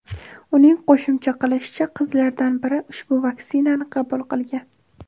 Uning qo‘shimcha qilishicha, qizlaridan biri ushbu vaksinani qabul qilgan.